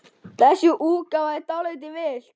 Þessi útgáfa er dálítið villt.